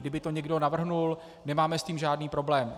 Kdyby to někdo navrhl, nemáme s tím žádný problém.